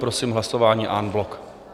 Prosím hlasování en bloc.